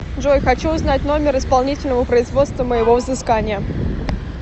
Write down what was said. джой хочу узнать номер исполнительного производства моего взыскания